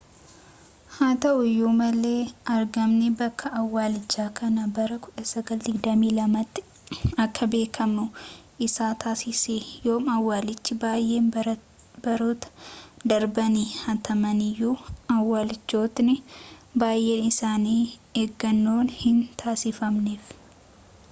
haa ta'uuyyu malee argamni bakka awwaalchaa kana bara 1922 tti akka beekamuu isa taasisee yooma awwalchii baayeen barootaa darbanii haatamaniyyu awwalchootni baayeen isaani eegannon hin taasifamneef